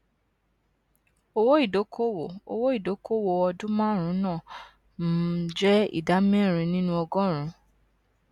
owó ìdókòwò owó ìdókòwò ọdún márùnún náà um jẹ ìdá mẹrin nínú ọgọrùnún